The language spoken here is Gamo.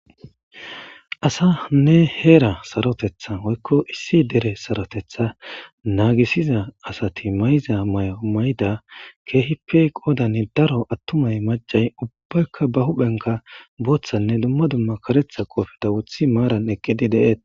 Asanne era sarothethanne hera sarotetha woyko issi hera satothethi nagisida kehippe qoddan darro gidida atumaynne macay huphen bothanne karetha kopiya wothidi salpenekidossona.